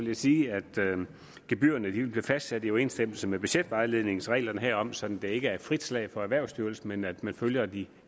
jeg sige at gebyrerne vil blive fastsat i overensstemmelse med budgetvejledningens regler herom sådan at der ikke er frit slag for erhvervsstyrelsen men at man følger de